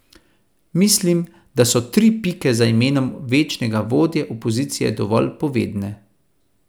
Mislim, da so tri pike za imenom večnega vodje opozicije dovolj povedne.